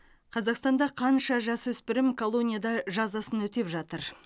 қазақстанда қанша жасөспірім колонияда жазасын өтеп жатыр